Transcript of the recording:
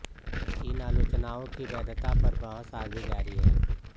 इन आलोचनाओं की वैधता पर बहस आज़ भी जारी है